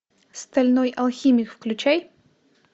стальной алхимик включай